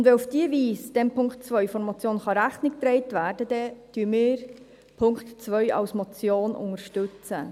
Und weil auf diese Weise dem Punkt 2 der Motion Rechnung getragen werden kann, unterstützen wir den Punkt 2 als Motion;